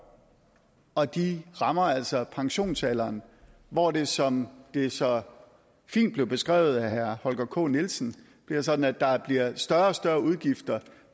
og de rammer altså pensionsalderen hvor det som det så fint blev beskrevet af herre holger k nielsen bliver sådan at der bliver større og større udgifter